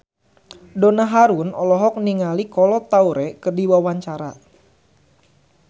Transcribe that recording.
Donna Harun olohok ningali Kolo Taure keur diwawancara